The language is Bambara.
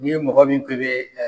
Ni e mɔgɔ min k'e bɛ